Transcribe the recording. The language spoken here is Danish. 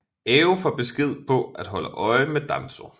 Ao får besked på at holde øje med Danzō